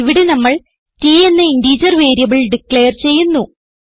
ഇവിടെ നമ്മൾ t എന്ന ഇന്റിജർ വേരിയബിൾ ഡിക്ലയർ ചെയ്യുന്നു